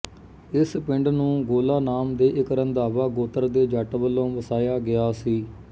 ਇਸ ਪਿੰਡ ਨੂੰ ਗੋਲਾ ਨਾਮ ਦੇ ਇੱਕ ਰੰਧਾਵਾ ਗੋਤਰ ਦੇ ਜੱਟ ਵੱਲੋਂ ਵਸਾਇਆ ਗਿਆ ਸੀ